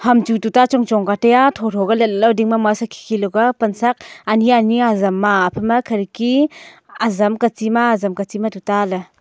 ham chu tu ta chongchong ka teya thotho letla dingma masa khikhi lakua pansak aniani ajam ma phai ma khirki ajam kachi ma ajam kachi ma thatu ta la.